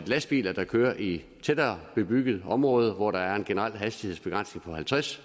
lastbiler der kører i tættere bebyggede områder hvor der er en generel hastighedsbegrænsning på halvtreds